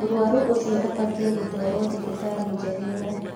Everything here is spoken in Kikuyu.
Mũrwaru ũcio abatiĩ gũtwarwo thibitarĩ njegega